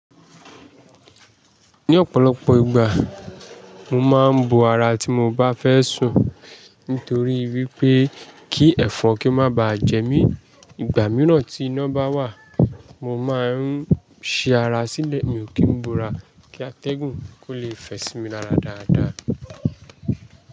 Ní ọ̀pọ̀lọpọ̀ ìgbà, mo máa ń bo ara tí mo bá fẹ́ sùn nítorí wípé kí ẹ̀fọn kí má ba jẹ mí. Ìgbà mìíràn tí iná bá wà, mo máa ń ṣí ara sílẹ̀, mi ò kí ń bo ara kí atẹ́gùn kó lè fẹ sí mi lára dáadáa.